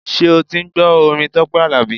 Ṣé o ti ń gbọ́ orin Tọ́pẹ́ Àlàbí?